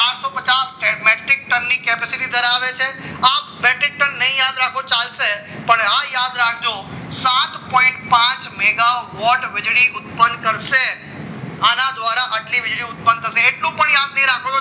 capacity ધરાવે છે આ બ્રેકેટ નહીં યાદ રાખો તો ચાલશે પણ આ યાદ રાખજો સાત પોઈન્ટ પાચ વોટ ની વીજળી ઉત્પન્ન કરશે આના દ્વારા આટલી વીજળી ઉત્પન્ન તમે એટલું યાદ નહીં રાખો